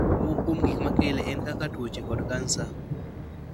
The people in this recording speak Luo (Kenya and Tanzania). moko kuom gik ma kele en kaka tuwoche kod cancer